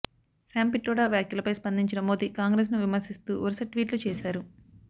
Sam Pitroda వ్యాఖ్యలపై స్పందించిన మోదీ కాంగ్రెస్ను విమర్శిస్తూ వరుస ట్వీట్లు చేశారు